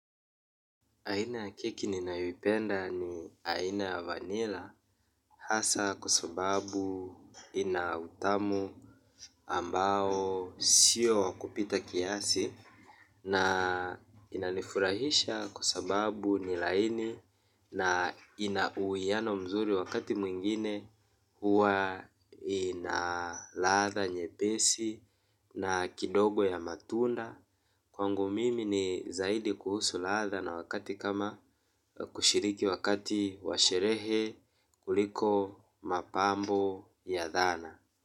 Aina ya keki ninawipenda ni aina ya vanila hasa kuasababu inautamu ambao sio wakupita kiasi na inanifurahisha kuasababu nilaini na inauwiano mzuri wakati mwingine huwa inalatha nyepesi na kidogo ya matunda. Kwangu mimi ni zaidi kuhusu laadha na wakati kama kushiriki wakati washerehe kuliko mapambo ya dhana.